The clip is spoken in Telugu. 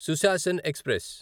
సుశాసన్ ఎక్స్ప్రెస్